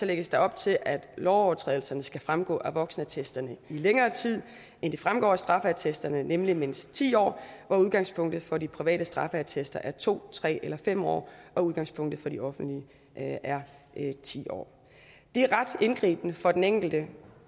lægges der op til at lovovertrædelserne skal fremgå af voksenattesten i længere tid end det fremgår af straffeattesten nemlig i mindst ti år hvor udgangspunktet for de private straffeattester er to tre eller fem år og udgangspunktet for de offentlige er ti år det er ret indgribende for den enkelte